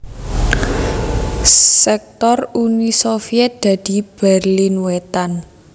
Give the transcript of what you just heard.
Sektor Uni Sovyèt dadi Berlin Wétan